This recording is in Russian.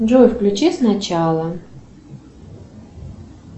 джой включи с начала